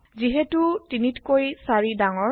যিহেতু ৩ তকৈ ৪ ডাঙৰ